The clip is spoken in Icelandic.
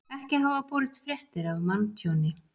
Ekki hafa borist fréttir af manntjóni